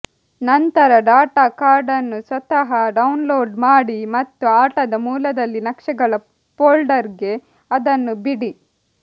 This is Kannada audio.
ನಂತರ ಡಾಟಾ ಕಾರ್ಡ್ ಅನ್ನು ಸ್ವತಃ ಡೌನ್ಲೋಡ್ ಮಾಡಿ ಮತ್ತು ಆಟದ ಮೂಲದಲ್ಲಿ ನಕ್ಷೆಗಳ ಫೋಲ್ಡರ್ಗೆ ಅದನ್ನು ಬಿಡಿ